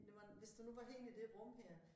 Det var hvis nu det var herinde i det rum her